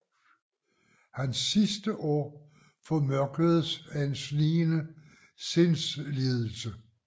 Hans sidste år formørkedes af en snigende sindslidelse